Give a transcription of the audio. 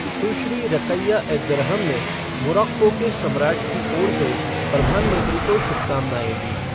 सुश्री Rakia Eddarhem ने Morocco के सम्राट की ओर से प्रधानमंत्री को शुभकामनाएं दीं।